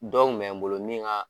Dɔw kun bɛ n bolo min ka.